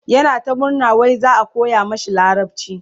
yana ta murna wai za'a koya mashi larabci